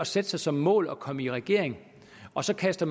sætte sig som mål at komme i regering og så kaste